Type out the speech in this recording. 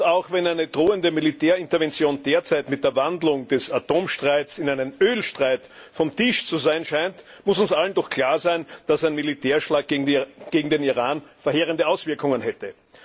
Auch wenn eine drohende Militärintervention derzeit mit der Wandlung des Atomstreits in einen Ölstreit vom Tisch zu sein scheint, muss uns allen doch klar sein, dass ein Militärschlag gegen den Iran verheerende Auswirkungen hätte.